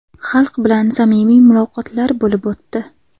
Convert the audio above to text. Xalq bilan samimiy muloqotlar bo‘lib o‘tdi.